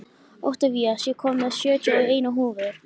Oktavías, ég kom með sjötíu og eina húfur!